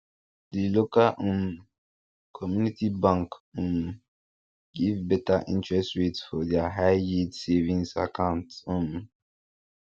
di local um community bank um give better interest rate for their highyield savings account um